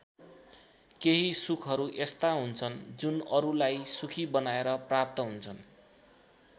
केही सुखहरू यस्ता हुन्छन् जुन अरूलाई सुखी बनाएर प्रप्त हुन्छन्।